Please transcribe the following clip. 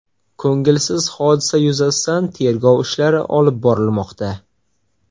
Ko‘ngilsiz hodisa yuzasidan tergov ishlari olib borilmoqda.